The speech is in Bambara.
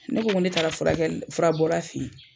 Ne ko ko ne taara furakɛli fura bɔra fe yen